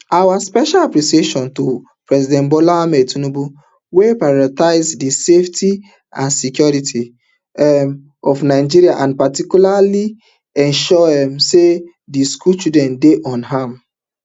our special appreciation to president bola ahmed tinubu wey pioritise di safety and security um of nigerians and particularly ensuring um say di school children dey unharmed